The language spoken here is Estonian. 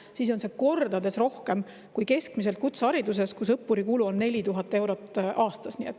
See on kordades rohkem kui keskmiselt kutsehariduses, kus õppuri kulu on 4000 eurot aastas.